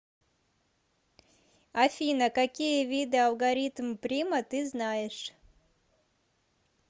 афина какие виды алгоритм прима ты знаешь